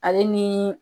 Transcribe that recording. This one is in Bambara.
Ale ni